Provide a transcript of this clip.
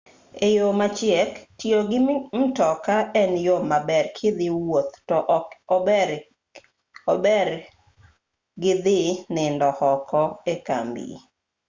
e yo machiek tiyo gi mtoki en yo maber kidhi wuoth to ok obergi dhi nindo oko ekambi